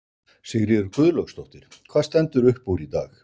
Sigríður Guðlaugsdóttir: Hvað stendur upp úr í dag?